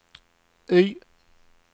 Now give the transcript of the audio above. Y